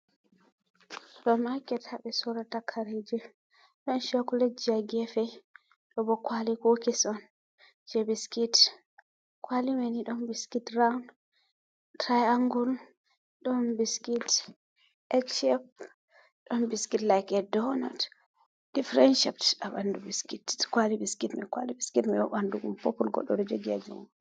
Supa maket ha ɓe sorata kareje, ɗon chakuleji ha gefe, ɗobo kwali kokis'on je biskit, kwalimani ɗon biskit rowun, tirai angul, ɗon biskit ekshep, ɗon biskit lake donot, difiren chep ha ɓandu bisit, kwali biskit, kwali biskit manbo ɓandum godɗo ɗon jogi ha jungo.